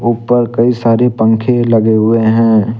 ऊपर कई सारी पंखे लगे हुए हैं।